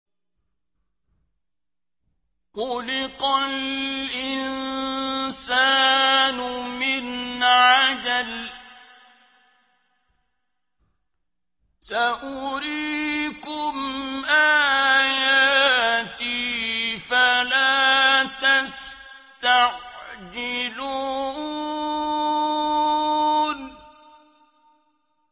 خُلِقَ الْإِنسَانُ مِنْ عَجَلٍ ۚ سَأُرِيكُمْ آيَاتِي فَلَا تَسْتَعْجِلُونِ